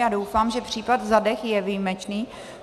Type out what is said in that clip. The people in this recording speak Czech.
Já doufám, že případ Zadeh je výjimečný.